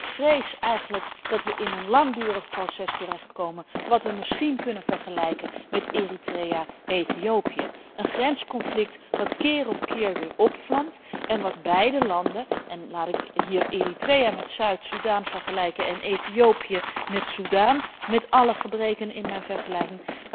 Ik vrees eigenlijk dat we in een langdurig proces terechtkomen, dat we misschien kunnen vergelijken met Eritrea en Ethiopië een grensconflict dat keer op keer weer opvlamt en waarbij beide landen en laat ik hier Eritrea met Zuid Soedan vergelijken en Ethiopië met Soedan, alle gebreken van deze vergelijking